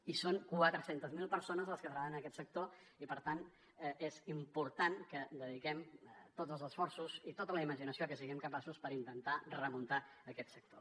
i són quatre centes mil persones les que treballen en aquest sector i per tant és important que dediquem tots els esforços i tota la imaginació de què siguem capaços per intentar remuntar aquest sector